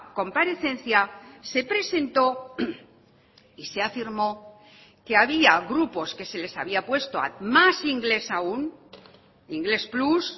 comparecencia se presentó y se afirmó que había grupos que se les había puesto más inglés aún inglés plus